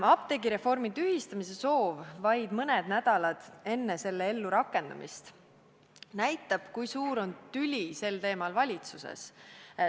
Apteegireformi tühistamise soov vaid mõned nädalad enne selle ellurakendamist näitab, kui suur on tüli sel teemal valitsuses.